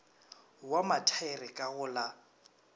wa mathaere ka go la